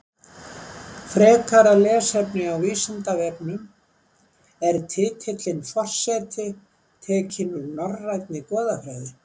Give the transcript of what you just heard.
Frekara lesefni á Vísindavefnum Er titillinn forseti tekinn úr norrænni goðafræði?